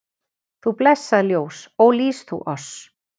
Þú blessað ljós, ó lýs þú oss